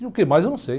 E o que mais eu não sei.